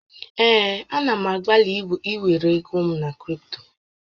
Ee, a na m agbalị ịwere ego m na kripto